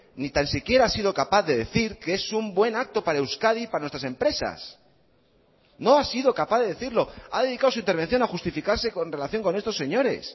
ni tan siquiera ha sido capaz de decir que es un buen acto para euskadi para nuestras empresas no ha sido capaz de decirlo ha dedicado su intervención a justificarse con relación con estos señores